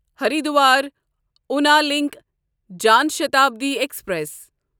Haridwar یونا link Janshatabdi express